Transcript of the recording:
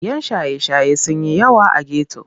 Yan shaye-shaye sun yi yawa a geto.